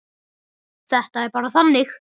Þetta er bara þannig.